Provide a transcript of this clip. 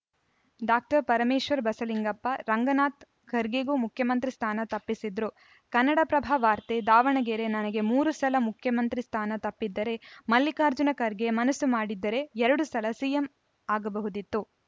doctor Parameshwar Basalingappa Ranganatha ಖರ್ಗೆಗೂ ಮುಖ್ಯಮಂತ್ರಿ ಸ್ಥಾನ ತಪ್ಪಿಸಿದ್ರು ಕನ್ನಡಪ್ರಭ ವಾರ್ತೆ ದಾವಣಗೆರೆ ನನಗೆ ಮೂರು ಸಲ ಮುಖ್ಯಮಂತ್ರಿ ಸ್ಥಾನ ತಪ್ಪಿದ್ದರೆ ಮಲ್ಲಿಕಾರ್ಜುನ ಖರ್ಗೆ ಮನಸ್ಸು ಮಾಡಿದ್ದರೆ ಎರಡು ಸಲ ಸಿಎಂ ಆಗಬಹುದಿತ್ತು